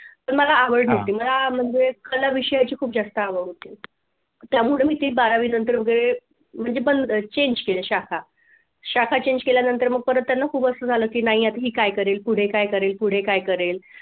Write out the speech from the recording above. तर मला आवड होती मला म्हणजे कला विषयाचे खूप जास्त आवड होती. त्यामुळे मी ती बारावीनंतर वगैरे म्हणजे बंद change केली शाखा शाखा change केल्यानंतर मग परत त्यांना खूपच झालं की नाही ही काय करेल पुढे काय तरी पुढे काय करेल